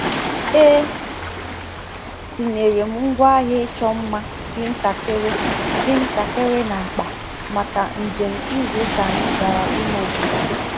E tinyere m ngwaahịa ịchọ mma dị ntakịrị dị ntakịrị n’akpa maka njem izu ụka anyị gara ime obodo.